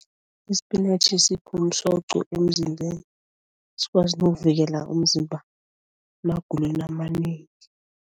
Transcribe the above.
Isipinatjhi sipha umsoco emzimbeni, sikwazi nokuvikela umzimba emagulweni amanengi.